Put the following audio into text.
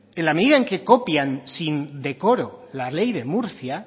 en la medida que copian sin decoro la ley de murcia